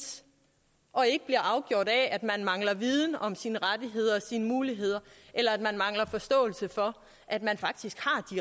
og ikke bliver afgjort af at man mangler viden om sine rettigheder og sine muligheder eller man mangler forståelse for at man faktisk